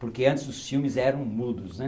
Porque, antes, os filmes eram mudos né.